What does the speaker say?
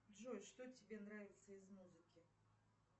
джой что тебе нравится из музыки